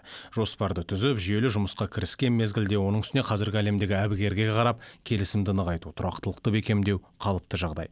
жоспарды түзіп жүйелі жұмысқа кіріскен мезгілде оның үстіне қазіргі әлемдегі әбігерге қарап келісімді нығайту тұрақтылықты бекемдеу қалыпты жағдай